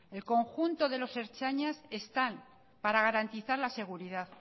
el conjunto de los ertzainas están para garantizar la seguridad